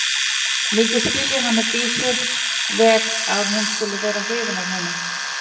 Mikið skil ég hana Dísu vel að hún skuli vera hrifin af honum.